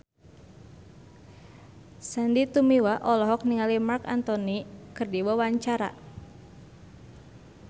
Sandy Tumiwa olohok ningali Marc Anthony keur diwawancara